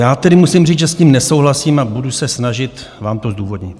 Já tedy musím říct, že s tím nesouhlasím, a budu se snažit vám to zdůvodnit.